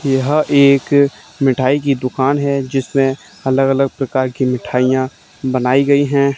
यह एक मिठाई की दुकान है जिसमें अलग अलग प्रकार की मिठाइयां बनाई गई हैं।